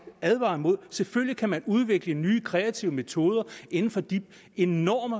advare mod selvfølgelig kan man udvikle nye kreative metoder inden for de enorme